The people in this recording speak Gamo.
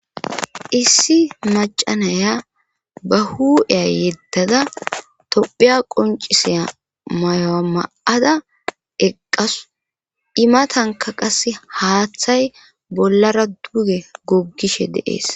Issi naya ba huu7iya yeddada tophiya qoncisiya mayuwa ma7ada eqqasu imatanka qase haaththay bollara duge goggishe de7ees.